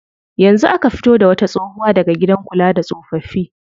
Yanzu aka fito da wata tsohuwa daga gidan kula da tsofaffi.